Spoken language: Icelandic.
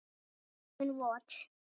Augun vot.